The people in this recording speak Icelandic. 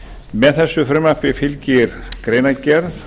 með þessu frumvarpi fylgir greinargerð